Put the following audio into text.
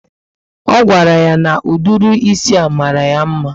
O gwara ya na ụdịrị ísì a mara ya mma